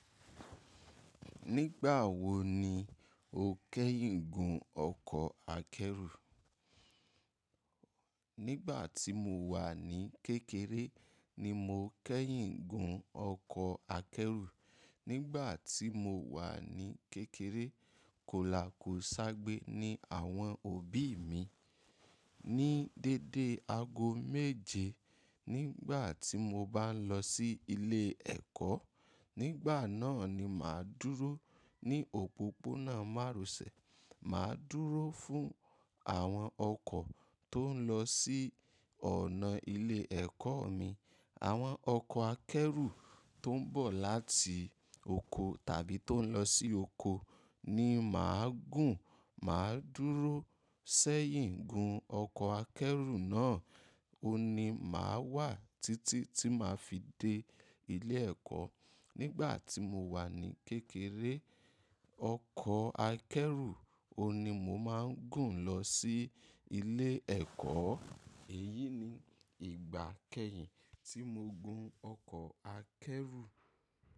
Nígbà wo ni o kẹ́yìn gún ọkọ̀ akẹ́rù? Nígbà tí mo wà ní kékeré ni mo kẹ́yìn gún ọkọ̀ akẹ́rù. Nígbà tí mo wà ní kékeré, kò la kò sábé ní àwọn òbí mi. Ni dédé aago méje nígbà tí mo bá ń lọ sí ilé ẹ̀kọ́, nígbà náà ni màá dúró ní òpópónà márosẹ̀. Màá dúró fún àwọn ọkọ̀ tó ń lọ sí ọ̀nà ilé ẹ̀kọ́ mi. Àwọn ọkọ̀ akẹ́rù tó ń bọ̀ láti oko tàbí tó ń lọ sí oko ni màá gùn. Màá dúró sẹ́yìn gún ọkọ̀ akẹ́rù náà. Ó ni màá wà títí tí màá fi dé ilé ẹ̀kọ́. Nígbà tí mo wà ní kékeré, ọkọ̀ akẹ́rù ó ni mó máa ń gùn lọ sí ilé ẹ̀kọ́. Èyí ni ìgbà kẹ́yìn tí mo gùn ọkọ̀ akẹ́rù.